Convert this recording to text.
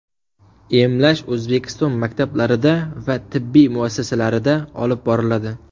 Emlash O‘zbekiston maktablarida va tibbiy muassasalarida olib boriladi.